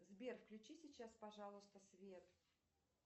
сбер включи сейчас пожалуйста свет